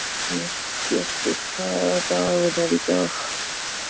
Sigbjartur, hvaða dagur er í dag?